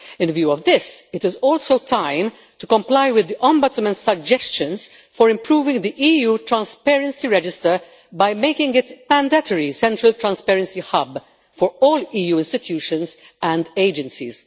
In view of this, it is also time to comply with the Ombudsman's suggestions for improving the EU Transparency Register by making it a mandatory central transparency hub for all EU institutions and agencies.